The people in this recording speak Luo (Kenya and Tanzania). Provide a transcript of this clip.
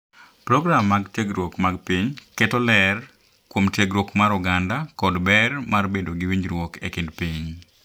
Program mag tiegruok mag piny keto ler kuom tiegruok mar oganda kod ber mar bedo gi winjruok e kind piny,